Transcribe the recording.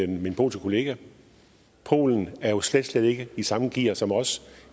min polske kollega polen er jo slet slet ikke i samme gear som os